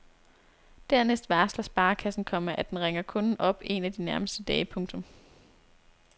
Dernæst varsler sparekassen, komma at den ringer kunden op en af de nærmeste dage. punktum